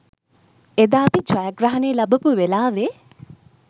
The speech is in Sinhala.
එදා අපි ජයග්‍රහණය ලබපු වෙලාවෙ